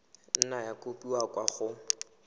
nna ya kopiwa kwa go